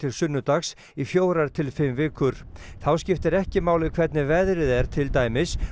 sunnudags í fjórar til fimm vikur þá skiptir ekki máli hvernig veðrið er til dæmis